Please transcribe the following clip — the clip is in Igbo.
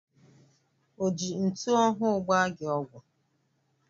O ji ntụ ọhụụ gbaa gị ọgwụ?